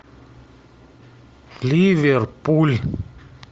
ливерпуль